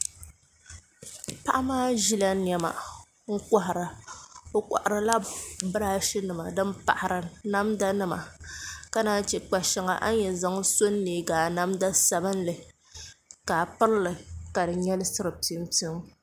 Paɣa maa ʒila niɛma n kohara o koharila birashi nima din pahari namda nima ka naan chɛ kpa shɛŋa a ni yɛn zaŋ so n neegi a namda sabinli ka a pirili ka di nyɛlisiri piu piu